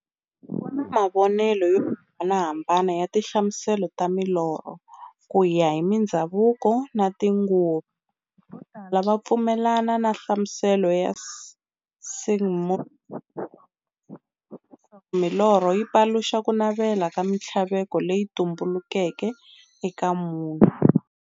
Ku na mavonele yo hambanahambana ya tinhlamuselo ta milorho, kuya hi mindzhavuko na tinguva. Votala va pfumelana na nhlamuselo ya Sigmund Freud, leswaku milorho yi paluxa kunavela na minthlaveko leyi tumbeleke eka munhu.